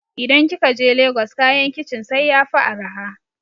idan kikaje lagos kayan kicin sai yafi araha